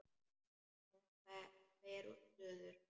Hún fer suður.